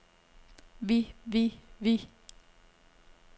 vi vi vi